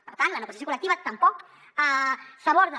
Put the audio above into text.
per tant la negociació col·lectiva tampoc s’aborda